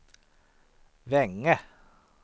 Veinge